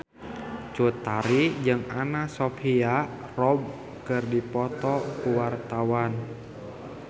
Cut Tari jeung Anna Sophia Robb keur dipoto ku wartawan